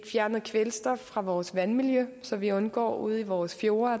fjernet kvælstof fra vores vandmiljø så vi undgår iltsvind ude i vores fjorde